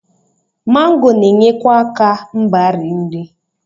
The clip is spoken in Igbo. Mango na-enyekwa aka mgbari nri.